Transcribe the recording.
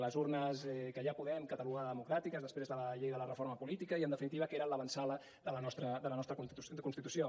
les urnes que ja podem catalogar de democràtiques després de la llei de la reforma política i en definitiva el que era l’avantsala de la nostra constitució